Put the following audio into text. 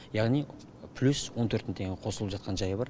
яғни плюс он төрт мың теңге қосылып жатқан жайы бар